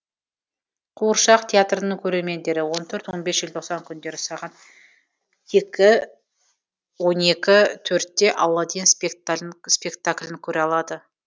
қуыршақ театрының көрермендері он төрт он бес желтоқсан күндері сағат екі он екі төртте аладдин спектаклін көре алады